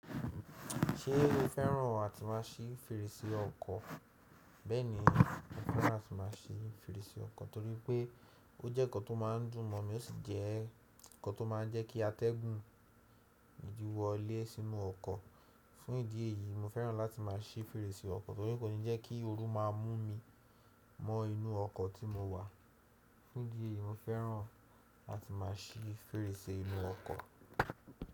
Ṣe o fẹ́ràn àti má a ṣí fèrèsè ọkọ̀? Bẹ́ẹ̀ni, mo fẹ́ràn àti má a ṣí fèrèsè ọkọ̀ torí pé ó jẹ́ nǹkan tó má ń dùn mọ, ó sì jẹ́ nǹkan tó má ń jẹ́ kí atẹ́gùn wọlé sínú ọkọ̀. Fún ìdí èyí, mo fẹ́ràn láti má a ṣí fèrèsè ọkọ̀ torí kò ní jẹ́ kí ooru má a mú mi mọ inú ọkọ̀ tí mo wà. Fún ìdí èyí, mo fẹ́ràn láti má a ṣí fèrèsè inú ọkọ̀.